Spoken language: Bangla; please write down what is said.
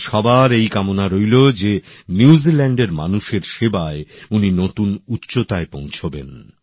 আমাদের সবার এই কামনা রইল যে নিউজিল্যান্ডের মানুষের সেবায় উনি নতুন উচ্চতায় পৌঁছবেন